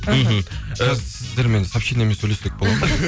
мхм і сіздермен сообщениямен сөйлессек бола ма